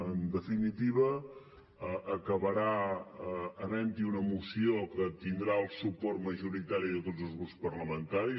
en definitiva acabarà havent hi una moció que tindrà el suport majoritari de tots els grups parlamentaris